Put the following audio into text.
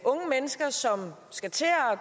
skal